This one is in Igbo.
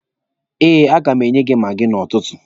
Eh, a ga m enye ya maagi n'ụtụtụ.